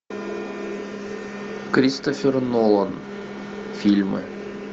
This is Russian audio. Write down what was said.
кристофер нолан фильмы